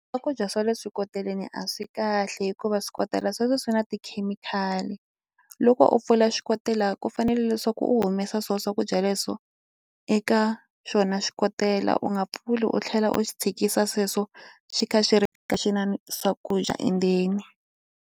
Swakudya swa le swikoteleni a swi kahle hikuva swikotela sweswo swi na tikhemikhali loko u pfula xikotela ku fanele leswaku u humesa swo swakudya leswo eka xona xikotela u nga pfuli u tlhela u xi tshikisa sweswo xi kha xi na swakudya endzeni.